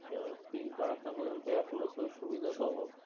আহ PIN করা থাকলে আরকি এপোলোতেও আরকি সুবিধা পাবো।